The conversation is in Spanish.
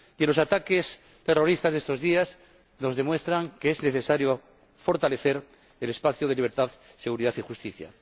Y los ataques terroristas de estos días nos demuestran que es necesario fortalecer el espacio de libertad, seguridad y justicia.